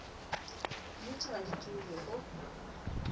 dijotše ga di ture go